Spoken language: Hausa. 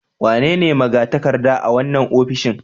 Wanene magatakarda a wannan ofishin